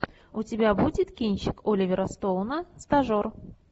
у тебя будет кинчик оливера стоуна стажер